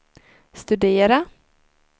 studera